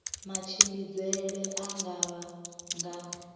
matshimbidzele a nga vha nga